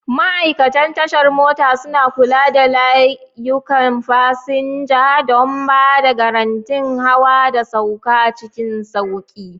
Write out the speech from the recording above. Ma'aikatan tashar mota suna kula da layukan fasinja don ba da garantin hawa da sauka cikin sauƙi.